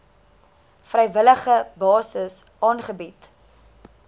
vrywillige basis aangebied